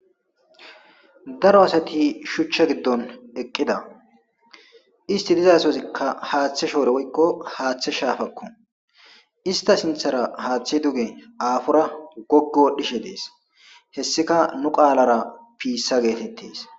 daro asati shuchcha giddon eqqida isti dizasozikka haaththe shoore woykko haaththe shaafakko ista sinthara haaththi duge aafora goggo wodhishe dees hessika nu qaalara piissa geetettes